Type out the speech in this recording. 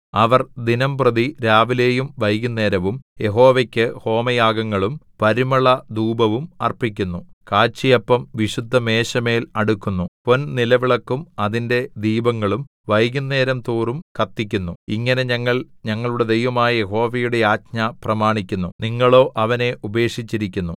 അവർ ദിനംപ്രതി രാവിലെയും വൈകുന്നേരവും യഹോവയ്ക്ക് ഹോമയാഗങ്ങളും പരിമളധൂപവും അർപ്പിക്കുന്നു കാഴ്ചയപ്പം വിശുദ്ധമേശമേൽ അടുക്കുന്നു പൊൻനിലവിളക്കും അതിന്റെ ദീപങ്ങളും വൈകുന്നേരംതോറും കത്തിക്കുന്നു ഇങ്ങനെ ഞങ്ങൾ ഞങ്ങളുടെ ദൈവമായ യഹോവയുടെ ആജ്ഞ പ്രമാണിക്കുന്നു നിങ്ങളോ അവനെ ഉപേക്ഷിച്ചിരിക്കുന്നു